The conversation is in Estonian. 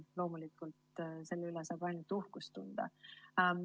Loomulikult, selle üle saab ainult uhkust tunda.